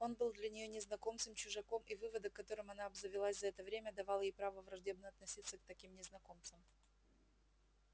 он был для нее незнакомцем чужаком и выводок которым она обзавелась за это время давал ей право враждебно относиться к таким незнакомцам